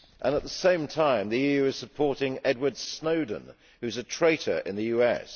At the same time, the EU is supporting Edward Snowden, who is a traitor in the US.